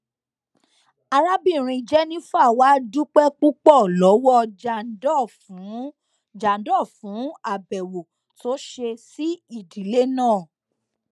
arábìnrin jennifer wàá dúpẹ púpọ lọwọ jandor fún jandor fún àbẹwò tó ṣe sí ìdílé náà